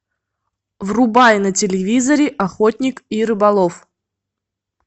врубай на телевизоре охотник и рыболов